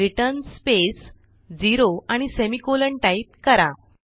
return space 0 आणि semicolon type करा